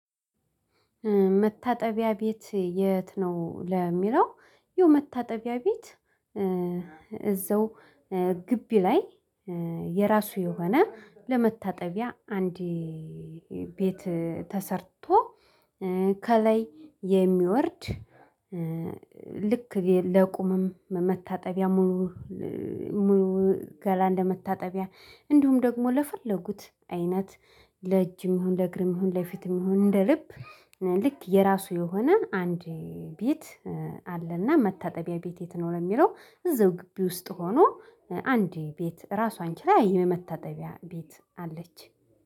መታጠቢያ ቤት የት ነው ለሚለው? ይህ መታጠቢያ ቤት እዛው ግቢ ላይ የራሱ የሆነ ለመታጠቢያ አንዴ ቤት ተሰርቶ ከላይ የሚወርድ ልክ ለቁምም መታጠቢያ። ሙሉ ገላ እንደመታጠቢያ እንዲሁም ደግሞ ለፈለጉት አይነት ለእጅም ይሁን ለእግርም ይሁን ለፊትም ይሁን እንደ ልብ ልክ የራሱ የሆነ አንድ ቤት። አለና መታጠቢያ ቤት የት ለሚለው እዚው ግቢ ውስጥ ሆኖ አንዲ ቤት ራሷን ችላ የመታጠቢያ ቤት አለች